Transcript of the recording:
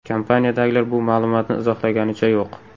Kompaniyadagilar bu ma’lumotni izohlaganicha yo‘q.